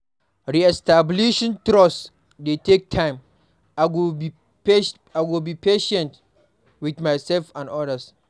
Re-establishing trust dey take time; I go be patient with myself and others.